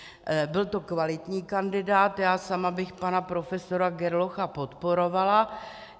Byl to kvalitní kandidát, já sama bych pana profesora Gerlocha podporovala.